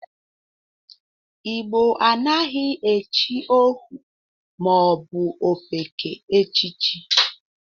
Igbo anaghị echi ohu ma ọ bụ ofeke echichi.